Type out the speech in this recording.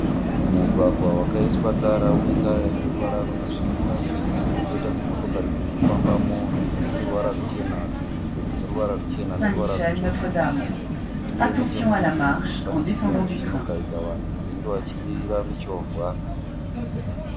Mugwagwa vakaiswa Tara une Tara ine ruvara rwakasvibira koita dzimotokari dzirikufambamo dzimwe dzine ruvara ruchena dzimwe ndidzo dzine ruvara ruche ne rutsvuku uye nechemurutivi kune chigaro chinogarira vanhu anenge wachimirira muchovha